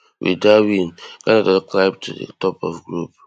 wit dat win ghana don climb to di top of group